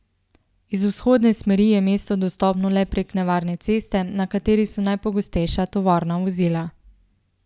Iz vzhodne smeri je mesto dostopno le prek nevarne ceste, na kateri so najpogostejša tovorna vozila.